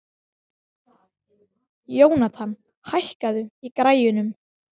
Jónatan, hækkaðu í græjunum.